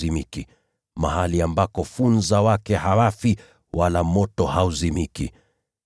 Mahali ambako funza wake hawafi wala moto hauzimiki.]